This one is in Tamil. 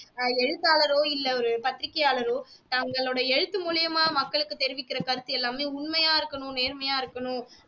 ஆஹ் எழுத்தாளரோ இல்லை ஒரு பத்திரிக்கையாளரோ தங்களுடைய எழுத்து மூலியமா மக்களுக்கு தெரிவிக்கிற கருத்து எல்லாமே உண்மையா இருக்கணும் நேர்மையா இருக்கணும்